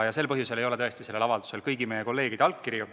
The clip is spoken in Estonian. Sel põhjusel ei ole tõesti sellel avaldusel kõigi meie kolleegide allkirju.